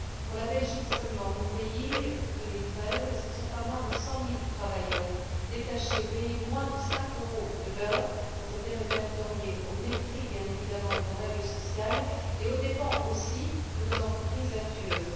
Pour la Belgique seulement mon pays en 2013, ce ne sont pas moins de 100000travailleurs détachés, payés moins de 5euros de l'heure, qui ont été répertoriés au mépris, bien évidemment, de nos règles sociales et aux dépens aussi de nos entreprises vertueuses.